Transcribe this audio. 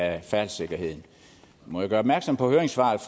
af færdselssikkerheden må jeg gøre opmærksom på høringssvaret